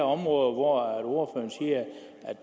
områder hvor